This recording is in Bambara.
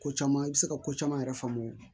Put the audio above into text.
Ko caman i bɛ se ka ko caman yɛrɛ faamu